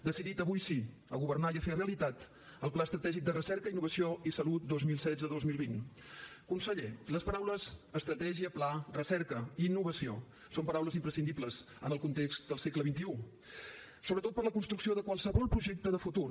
decidit avui sí a governar i a fer realitat el pla estratègic de recerca i innovació en salut dos mil setze dos mil vint conseller les paraules estratègia pla recerca i innovació són paraules imprescindibles en el context del segle xxi sobretot per a la construcció de qualsevol projecte de futur